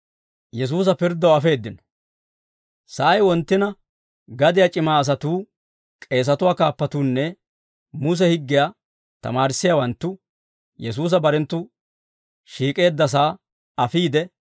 Sa'ay wonttina gadiyaa c'ima asatuu, k'eesatuwaa kaappatuunne Muse higgiyaa tamaarissiyaawanttu, Yesuusa barenttu shiik'eeddasaa afiide,